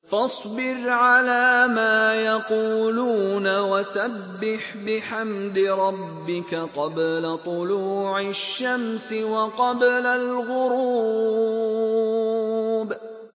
فَاصْبِرْ عَلَىٰ مَا يَقُولُونَ وَسَبِّحْ بِحَمْدِ رَبِّكَ قَبْلَ طُلُوعِ الشَّمْسِ وَقَبْلَ الْغُرُوبِ